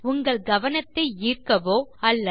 உங்கள் கவனத்தை ஈர்க்கவோ அல்லது